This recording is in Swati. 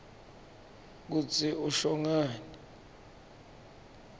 kutsi usho ngani